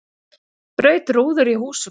Braut rúður í húsum